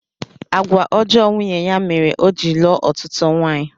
Àgwà ọjọọ nwunye ya mere o ji lụọ ọtụtụ nwaanyị